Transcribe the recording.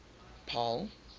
paarl